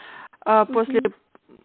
аа после